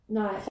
Nej